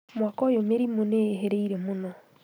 Mwaka ũyũ mĩrimũ nĩĩhĩrĩirie mũno